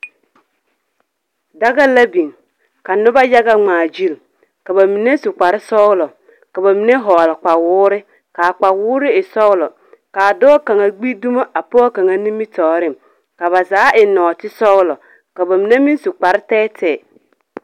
Daga la biŋ ka noba yaga ŋmaa gyil. Ka ba mine su kpar sɔglɔ, ka ba mine hɔɔl kpawoore, kaa kpawoore e sɔglɔ, kaa dɔɔ kaŋa gbi dumo a pɔge kaŋa. Ka ba zaa eŋ nɔɔte sɔgelɔ. Ka ba mine meŋ su kparre tɛɛtɛɛ.